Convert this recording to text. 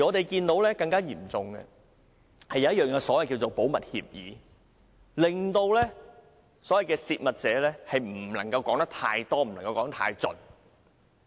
更嚴重的，是有一份所謂的"保密協議"，令"泄密者"不能夠說得太多、說得太盡。